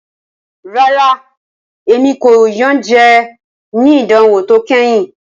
Rara, Emi ko iyanjẹ ni idanwo to kẹhin.